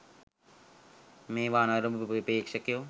මේවා නරඹපු ප්‍රේක්ෂකයෝ